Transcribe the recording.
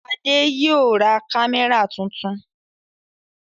Adé yóò ra kámẹ́rà tuntun.